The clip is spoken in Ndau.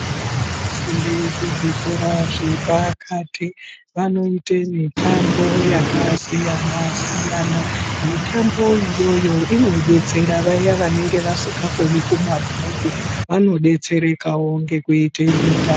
Vana vanofunde kuzvikora zvepakati vanoite mitambo yakasiyana siyana mitambo iyoyo inodetsera vaya vanenge vasikakoni kumabhuku vanodetserekawo ngekuite mitambo.